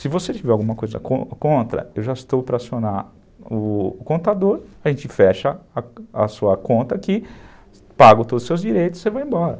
Se você tiver alguma coisa contra, eu já estou para acionar o contador, a gente fecha a sua conta aqui, pago todos os seus direitos e você vai embora.